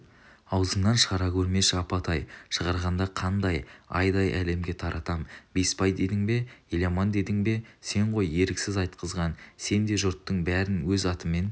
аузыңнан шығара көрмеші апатай шығарғанда қандай айдай әлемге таратам бесбай дедің бе еламан дедің бе сен ғой еріксіз айтқызған сен де жұрттың бәрін өз атымен